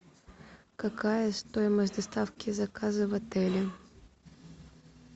какая стоимость доставки заказа в отеле